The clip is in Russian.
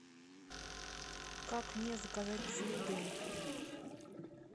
как мне заказать цветы